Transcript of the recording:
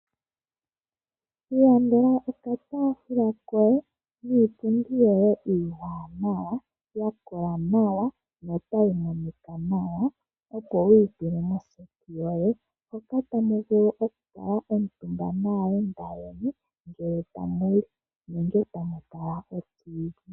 Ilandela okataafula koye niipundi yoye iiwanawa, yakola nawa no tayi monika nawa opo wuyi tule moseti yoye moka tamuvu okukala omutumba naayenda ngee tamuli nenge tamu tala oTV.